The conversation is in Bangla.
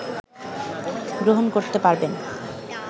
গ্রহণ করতে পারবেন